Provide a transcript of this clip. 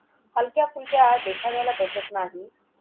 हलक्याफुलक्या देखाव्याला बसत नाही.